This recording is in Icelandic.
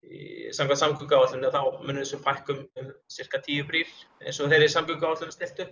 samkvæmt samgönguáætluninni muni þessu fækka um sirka tíu brýr eins og þeirri samgönguáætlun er stillt upp